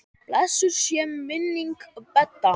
Blessuð sé minning Bedda.